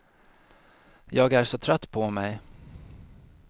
Jag är så trött på mig.